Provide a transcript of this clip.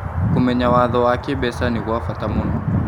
Kũmenya watho wa kĩmbeca nĩ gwa bata mũno.